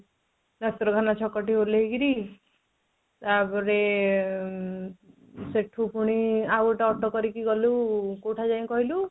ଯାଇକି ଡାକ୍ତରଖାନା ଛକରୁ ଓହ୍ଲେଇ କିରି ଉଁ ତା ପରେ ସେଠୁ ପୁଣି ଆଉ ଗୋଟାଏ auto କରିକି ଗଲୁ କୋଉଠି ଯାଇ କହିଲୁ